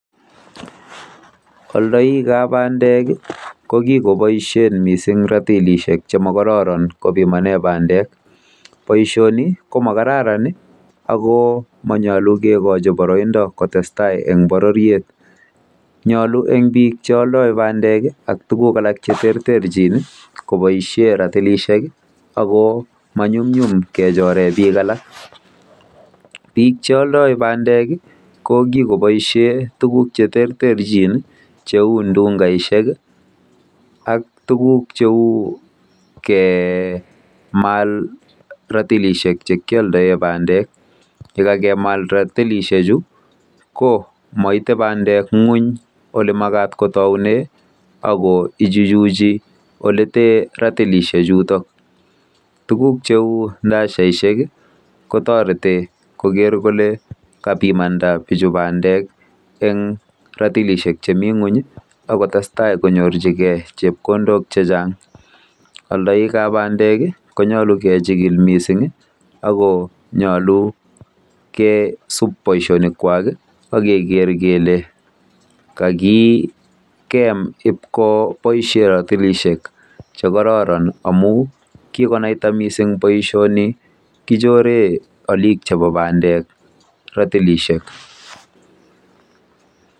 Aidoik ab bandek kokikoboisien ratilisiek Che mokororon kobimanen bandek boisioni komagaran ogo manyalu kigochin baroindo kotestai en bororiet nyalu en biik che aldoi bandek ak tuguk alak cheterterchin kobaisien ratilisiek ago manyumnyum kechoren biik alak biik che aldoi bandek kokikoboisien tuguk cheterterchin cheu ndungaisiek ak tuguk cheu kemal ratilisiek Che kioldoen bandek koyegakemal ratilisiek komaite bandek ngweny ak kotaunen ago ichuchuchi olekitoe ratilisiek chuton tuguk cheu silaisaisiek kotoreti koker kole kabiit imandab bandek en ratilisiek chemiten ngweny konaita konyorchigen chepkondok chechang aldoik ab bandek konyalu keolchikil mising ago nyalu kesub baisionik kwak ak kele kakigemkibko boisien ratilisiek Che kororon amun konaita missing baisionik kichoren alik chebo bandek ratilisiek